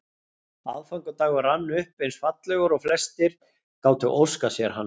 Aðfangadagur rann upp eins fallegur og flestir gátu óskað sér hann.